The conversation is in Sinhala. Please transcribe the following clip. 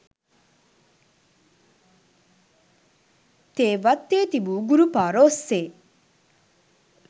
තේ වත්තේ තිබු ගුරුපාර ඔස්සේ